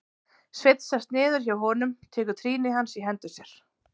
Sveinn sest niður hjá honum, tekur trýni hans í hendur sér.